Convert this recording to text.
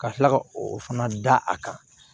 Ka tila ka o fana da a kan